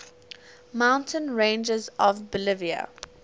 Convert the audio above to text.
mountain ranges of bolivia